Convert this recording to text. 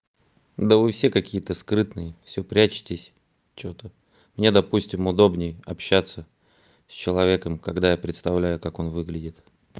да вы все какие-то скрытные всё прячетесь что-то мне допустим удобнее общаться с человеком когда я представляю как он выглядит